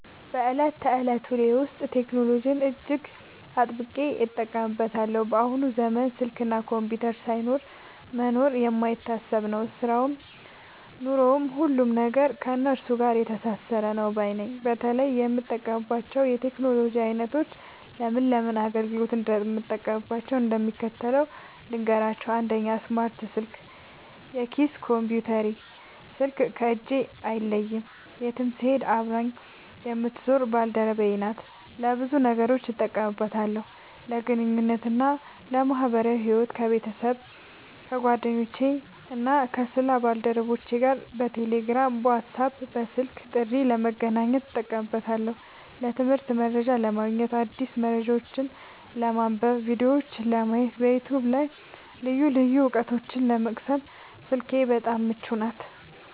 በዕለት ተዕለት ውሎዬ ውስጥ ቴክኖሎጂን እጅግ አጥብቄ እጠቀምበታለሁ። በአሁኑ ዘመን ስልክና ኮምፒውተር ሳይኖሩ መኖር የማይታሰብ ነው፤ ሥራውም ኑሮውም፣ ሁሉም ነገር ከእነሱ ጋር የተሳሰረ ነው ባይ ነኝ። በተለይ የምጠቀምባቸውን የቴክኖሎጂ ዓይነቶችና ለምን ለምን አገልግሎት እንደማውላቸው እንደሚከተለው ልንገራችሁ፦ 1. ስማርት ስልክ (የኪስ ኮምፒውተሬ) ስልክ ከእጄ አይለይም፤ የትም ስሄድ አብራኝ የምትዞር ባልደረባዬ ናት። ለብዙ ነገሮች እጠቀምባታለሁ፦ ለግንኙነትና ለማኅበራዊ ሕይወት፦ ከቤተሰብ፣ ከጓደኞቼና ከሥራ ባልደረቦቼ ጋር በቴሌግራም፣ በዋትስአፕና በስልክ ጥሪ ለመገናኘት እጠቀምበታለሁ። ለትምህርትና መረጃ ለማግኘት፦ አዳዲስ መረጃዎችን ለማንበብ፣ ቪዲዮዎችን ለማየትና በዩቲዩብ ላይ ልዩ ልዩ ዕውቀቶችን ለመቅሰም ስልኬ በጣም ምቹ ናት።